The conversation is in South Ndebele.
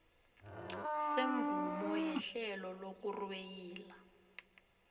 semvumo yehlelo lokurweyila